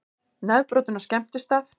Nefbrotinn á skemmtistað